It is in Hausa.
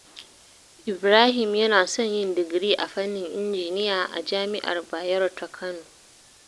Ibrahim yana son yin digiri a fannin injiniya a Jami’ar Bayero ta Kano.